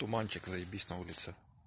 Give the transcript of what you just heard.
туманчик заебись на улице